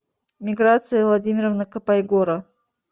миграция владимировна копайгора